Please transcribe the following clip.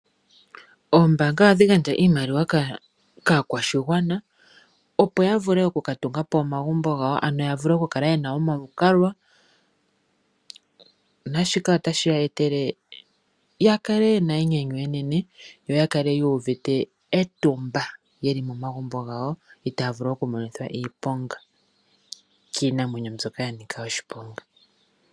Oombanga ohadhi gandja iimaliwa kaakwashigwana opo ya vule oku ka tunga po omagumbo gawo, ano ya vule oku kala ye na omalukalwa. Naashika ota shi ya etele yakale ye na enyanyu enene yo ya kale yuuvite etumba, ye li momagumbo gawo, itaavulu oku monithwa iiponga kiinamwenyo mbyoka ya nika oshiponga.